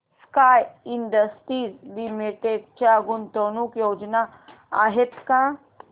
sky Industries Limited च्या गुंतवणूक योजना आहेत का